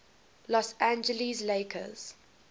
los angeles lakers